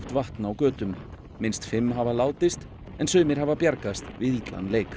vatn á götum minnst fimm hafa látist en sumir hafa bjargast við illan leik